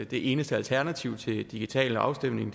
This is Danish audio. det eneste alternativ til digital afstemning